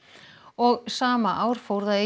og sama ár fór það í